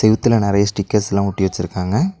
செவுத்துல நெறைய ஸ்டிக்கர்ஸ்லா ஒட்டி வச்சுருக்காங்க.